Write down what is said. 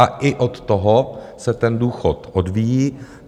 A i od toho se ten důchod odvíjí.